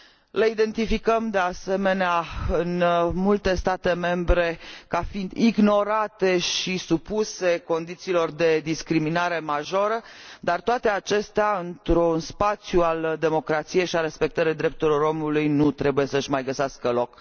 Le identificăm, de asemenea, în multe state membre ca fiind ignorate și supuse condițiilor de discriminare majoră, iar toate acestea într un spațiu al democrației și al respectării drepturilor omului nu trebuie să își mai găsească loc.